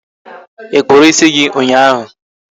Ị kpụrụ ịsị gị ụnyaahụ?